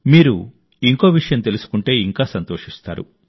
మీరు ఇంకో విషయం తెలుసుకుంటే ఇంకా సంతోషిస్తారు